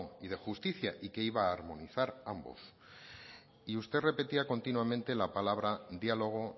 y de justicia y que iba a armonizar ambos y usted repetía continuamente la palabra diálogo